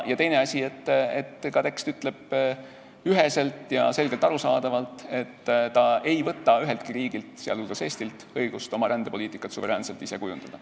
Teine asi, ka tekst ütleb üheselt ja selgelt arusaadavalt, et ta ei võta üheltki riigilt, sh Eestilt, õigust oma rändepoliitikat suveräänselt ise kujundada.